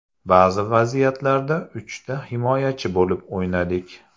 Ba’zi vaziyatlarda uchta himoyachi bo‘lib o‘ynadik.